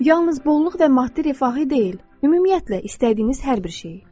Yalnız bolluq və maddi rifahı deyil, ümumiyyətlə, istədiyiniz hər bir şeyi.